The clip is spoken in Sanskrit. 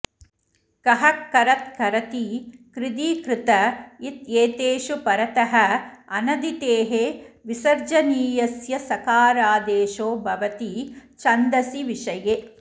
कः करत् करति कृधि कृत इत्येतेषु परतः अनदितेः विसर्जनीयस्य सकारादेशो भवति छन्दसि विषये